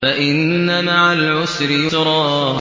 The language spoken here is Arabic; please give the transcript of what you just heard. فَإِنَّ مَعَ الْعُسْرِ يُسْرًا